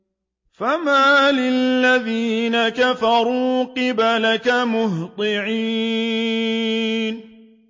فَمَالِ الَّذِينَ كَفَرُوا قِبَلَكَ مُهْطِعِينَ